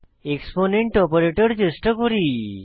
exponent operator চেষ্টা করি